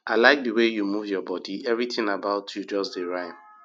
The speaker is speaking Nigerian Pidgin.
i like the way you move your body everything about you just dey rhyme